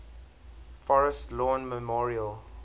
forest lawn memorial